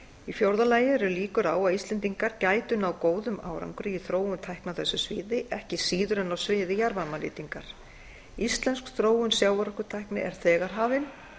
í fjórða lagi eru líkur á að íslendingar gætu náð góðum árangri í þróun tækni á þessu sviði ekki síður en á sviði jarðvarmanýtingar íslensk þróun sjávarorkutækni er þegar hafin